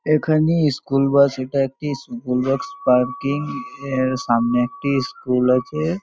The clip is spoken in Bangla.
এখানে স্কুল বাস এটা একটি স্কুল বাস পার্কিং সামনে একটি স্কুল আছে।